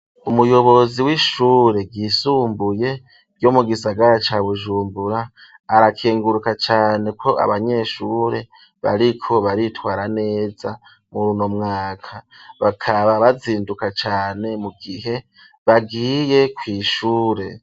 Umuyobozi w'ishure ryisumbuye, ryo mu gisagara ca bujumbura, arakenguruka cane ko abanyeshure bariko baritwara neza, muruno mwaka bakaba bazinduka cane ,mu gihe bagiye kw'ishure.